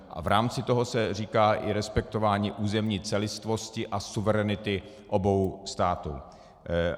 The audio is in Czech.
A v rámci toho se říká i respektování územní celistvosti a suverenity obou států.